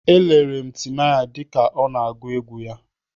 Elere m Timaya dịka ọ na-agụ egwu ya.